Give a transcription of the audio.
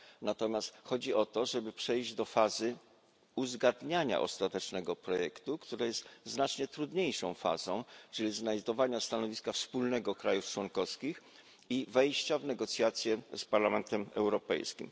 Natomiast chodzi o to, żeby przejść do fazy uzgadniania ostatecznego projektu, która jest znacznie trudniejszą fazą, czyli znajdowania wspólnego stanowiska państw członkowskich i wejścia w negocjacje z Parlamentem Europejskim.